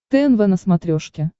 тнв на смотрешке